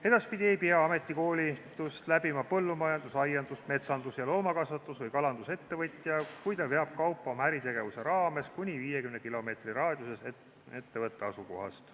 Edaspidi ei pea ametikoolitust läbima põllumajandus-, aiandus-, metsandus-, loomakasvatus- või kalandusettevõtja, kui ta veab kaupa oma äritegevuse raames kuni 50 kilomeetri raadiuses ettevõtte asukohast.